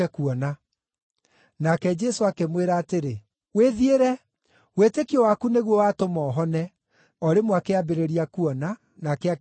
Nake Jesũ akĩmwĩra atĩrĩ, “Wĩthiĩre, wĩtĩkio waku nĩguo watũma ũhone.” O rĩmwe akĩambĩrĩria kuona, nake akĩrũmĩrĩra Jesũ.